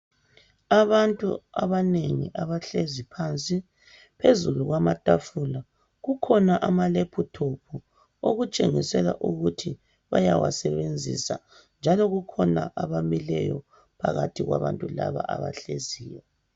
Abantu abanengi abahlezi phansi phezulu kwama tafula kukhona ama laptop okutshengisela ukuthi bayawasebenzisa njalo kukhona bamileyo phakathi kwabantu laba abahleziyo.